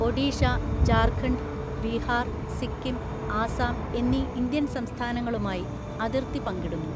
ഒഡീഷ, ജാർഖണ്ഡ്, ബീഹാർ, സിക്കിം, ആസാം എന്നീ ഇന്ത്യൻ സംസ്ഥാനങ്ങളുമായി അതിർത്തി പങ്കിടുന്നു.